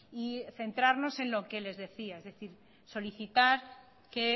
y centrarnos en lo que les decía es decir solicitar que